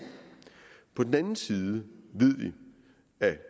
på den anden side af